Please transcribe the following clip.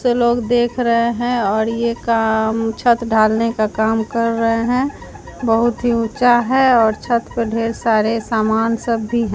लोग देख रहे हैं और ये काम छत ढालने का काम कर रहे हैं बहुत ही ऊंचा है और छत पर ढेर सारे सामान सब भी हैं।